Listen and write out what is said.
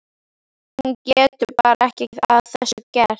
Hún getur bara ekki að þessu gert.